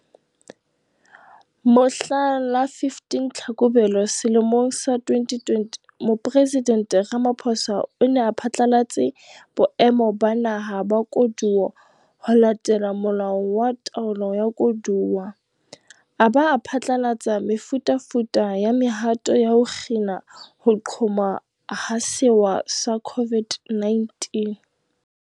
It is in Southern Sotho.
Mohla la 15 Tlhakubele selemong sa 2020, Mopresidente Ramaphosa o ne a phatlalatse Boemo ba Naha ba Koduwa ho latela Molao wa Taolo ya Koduwa, a ba a phatlalatsa mefutafuta ya mehato ya ho kgina ho qhoma ha sewa sa COVID-19.